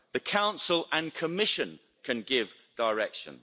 The Council and Commission can give direction.